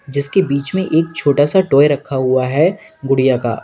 जिसके बीच में एक छोटा सा टॉय रखा हुआ है गुड़िया का।